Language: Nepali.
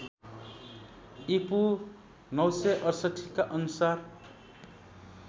ईपू ९६८ का अनुसार